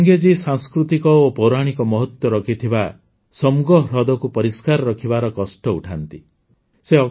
ସଙ୍ଗେ ଜୀ ସାଂସ୍କୃତିକ ଓ ପୌରାଣିକ ମହତ୍ୱ ରହିଥିବା ସୋମ୍ଗୋ ହ୍ରଦକୁ ପରିଷ୍କାର ରଖିବାର କଷ୍ଟ ଉଠାନ୍ନ୍ି